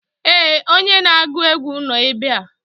ee, onye na-agụ egwu nọ ebe a